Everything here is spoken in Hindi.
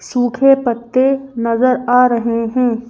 सूखे पत्ते नजर आ रहे हैं।